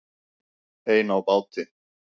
Ein á báti